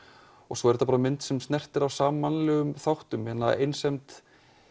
svo er þetta bara mynd sem snertir á mannlegum þáttum einsemd